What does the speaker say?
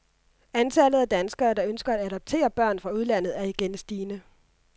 Antallet af danskere, der ønsker at adoptere børn fra udlandet, er igen stigende.